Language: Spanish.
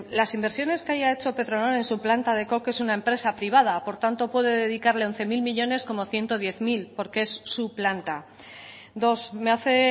las inversiones que haya hecho petronor en su planta de coque es una empresa privada por tanto puede dedicarle once mil millónes como ciento diez porque es su planta dos me hace